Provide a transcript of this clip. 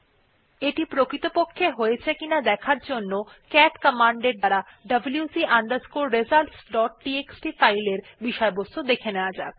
এখন এটি প্রকৃতপক্ষে হয়েছে কিনা দেখার জন্যে ক্যাট কমান্ড এর দ্বারা wc results dot TXT file এর বিষয়বস্তু দেখা যাক